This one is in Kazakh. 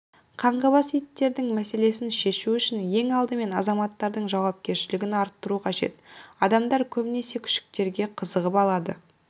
қаңғыбас иттердің мәселесін шешу үшін ең алдымен азаматтардың жауапкершлігін арттыру қажет адамдар көбінесе күшіктерге қызығып алады